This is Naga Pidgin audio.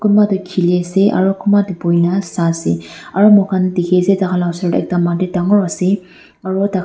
kunba toh kheli ase aru kumba toh bhuina sai ase aru moi khan dekhi ase tai khan laga osor tae ekta mati dangor ase aru.